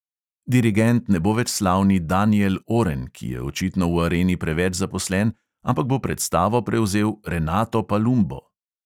Dirigent ne bo več slavni daniel oren, ki je očitno v areni preveč zaposlen, ampak bo predstavo prevzel renato palumbo.